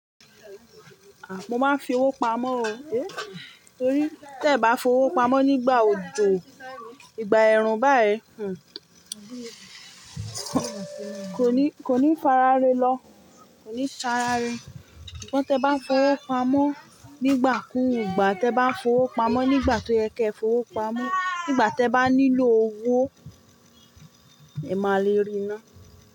À, mo máa ń fi owó pamọ́ o, é. Torí tí ẹ̀ bá fowó pamọ́ nígbà òjò, ìgbà ẹ̀rùn báyìí, kò ní fàràre lò kò ní sa ràre sugbon tẹ ń bá fowó pamọ́ nígbà kú, ìgbà tí ẹ bá fowó pamọ́ nígbà tó yẹ kí ẹ fowó pamọ́, nígbà tí ẹ bá nílò owó, ẹ máa le rí iná.